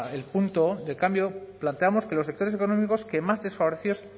el punto de cambio planteamos que los sectores económicos que más desfavorecidos